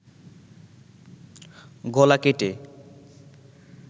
গলা কেটে